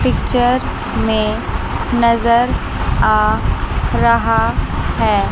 Picture में नजर आ रहा है।